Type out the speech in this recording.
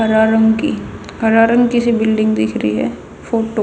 हरा रंग की हरा रंग की सी बिल्डिंग दिख री ह फोटो --